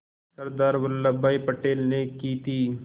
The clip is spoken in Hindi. सरदार वल्लभ भाई पटेल ने की थी